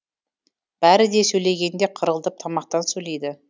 бәрі де сөйлегенде қырылдап тамақтан сөйлейді